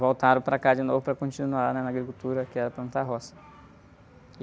Voltaram para cá de novo para continuar na agricultura, que era plantar roça.